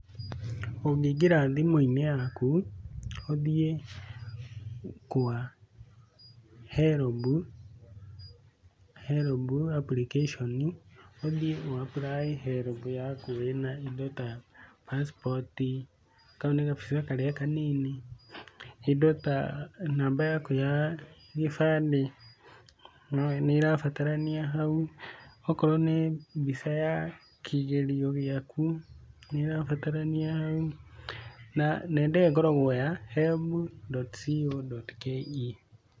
Ũngĩingĩra thimũ-inĩ yaku ,ũthiĩ kwa helb application, ũthiĩ ũ apply helb yaku wĩ na indo ta, pacipoti,k au nĩ gabica karĩa kanini, indo ta namba yaku ya gĩbandĩ nĩirabatarania hau, akorwo nĩ mbica ya kĩgerio gĩaku nĩrabatarania hau, na nenda ĩyo ĩkoragwo ya helb.co.ke